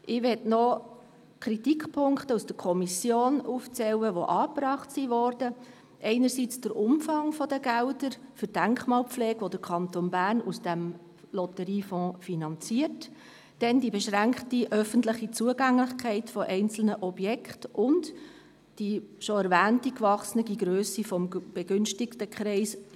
Ich möchte noch die Kritikpunkte erwähnen, die in der Kommission aufgezeigt worden sind: einerseits der Umfang der Gelder für die Denkmalpflege, die der Kanton Bern aus dem Lotteriefonds finanziert, anderseits die beschränkte öffentliche Zugänglichkeit einzelner Objekte und die bereits erwähnte angewachsene Grösse des begünstigten Kreises;